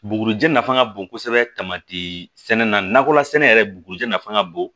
Bugurijɛ nafa ka bon kosɛbɛ tamati sɛnɛ nakɔla sɛnɛ yɛrɛ bugurijɛ nafa ka bon